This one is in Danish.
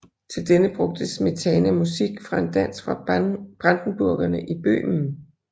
Til denne brugte Smetana musik fra en dans fra Brandenburgerne i Bøhmen